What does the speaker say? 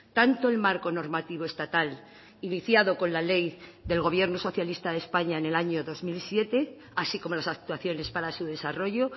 tanto el marco normativo estatal iniciado con la ley del gobierno socialista de españa en el año dos mil siete así como las actuaciones para su desarrollo